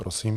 Prosím.